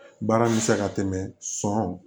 Baara bɛ se ka tɛmɛ sɔn